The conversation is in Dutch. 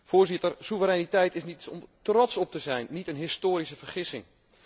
Voorzitter, soevereiniteit is iets om trots op te zijn, niet een historische vergissing.